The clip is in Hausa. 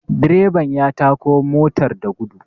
direban ya tako motar da gudu